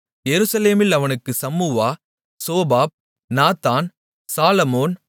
எருசலேமில் அவனுக்குச் Shammua Shobab Nathan Solomon